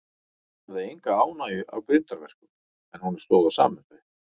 Hann hafði enga ánægju af grimmdarverkum, en honum stóð á sama um þau.